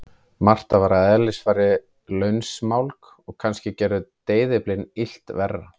Marta var að eðlisfari lausmálg og kannski gerðu deyfilyfin illt verra.